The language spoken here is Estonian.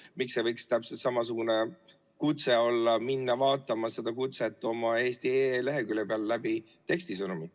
Miks ei võiks olla täpselt samasugune kutse tekstisõnumiga minna vaatama seda kutset eesti.ee lehekülje peal?